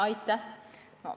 Aitäh!